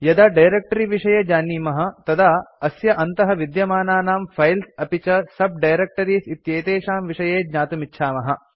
यदा डायरेक्ट्री विषये जानीमः तदा अस्य अन्तः विद्यमानानां फाइल्स् अपि च sub डायरेक्टरीज़ इत्येतेषां विषये ज्ञातुमिच्छामः